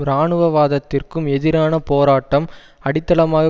இராணுவ வாதத்திற்கும் எதிரான போராட்டம் அடித்தளமாக